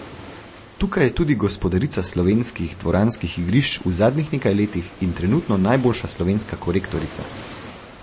Tukaj je tudi gospodarica slovenskih dvoranskih igrišč v zadnjih nekaj letih in trenutno najboljša slovenska korektorica.